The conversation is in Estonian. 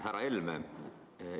Härra Helme!